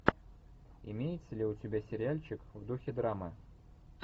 имеется ли у тебя сериальчик в духе драмы